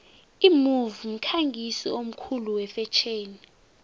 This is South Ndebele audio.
imove mkhangisi omkhulu wefetjheni